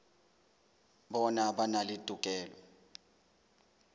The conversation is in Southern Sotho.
bona ba na le tokelo